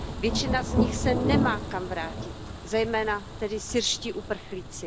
Většina z nich se nemá kam vrátit, zejména tedy syrští uprchlíci.